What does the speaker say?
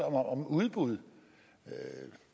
om udbud